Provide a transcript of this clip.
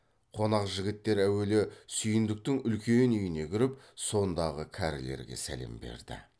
қонақ жігіттер әуелі сүйіндіктің үлкен үйіне кіріп сондағы кәрілерге сәлем берді